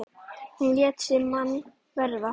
Hún lét sig mann varða.